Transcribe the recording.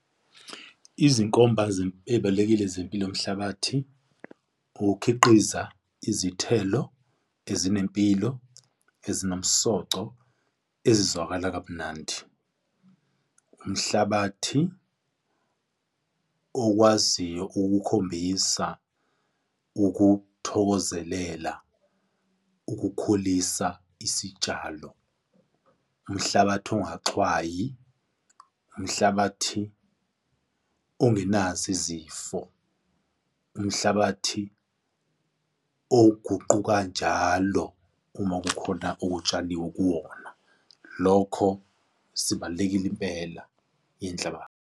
Izinkomba ey'ibalulekile zempilo yomhlabathi, ukukhiqiza izithelo ezinempilo, ezinomsoco, ezizwakala kamnandi. Umhlabathi okwaziyo ukukhombisa ukuthokozelela ukukhulisa isitshalo, umhlabathi ongaxhwayi, umhlabathi ongenazo izifo, umhlabathi oguquka kanjalo uma kukhona okutshaliwe kuwona. Lokho sibalulekile impela .